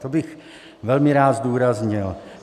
To bych velmi rád zdůraznil.